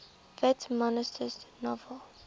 whit masterson's novel